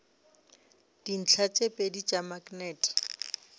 dintlha tše pedi tša maknete